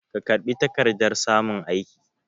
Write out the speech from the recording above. Ka karɓi takardar samun aiki?